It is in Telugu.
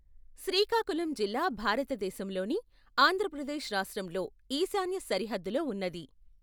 శ్రీకాకుళం జిల్లా భారత దేశము లోని ఆంధ్ర ప్రదేశ్ రాష్ట్రం లో ఈశాన్య సరిహద్దు లో ఉన్నది.